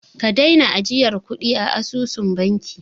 Ka daina ajiyar kuɗi a asusun banki!